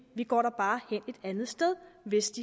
går da bare hen et andet sted hvis